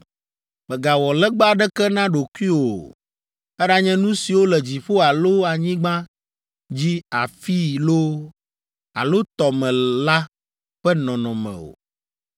Mègawɔ legba aɖeke na ɖokuiwò o, eɖanye nu siwo le dziƒo alo anyigba dzi afii loo, alo tɔ me la ƒe nɔnɔme o.